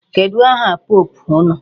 Kedụ aha pope unu?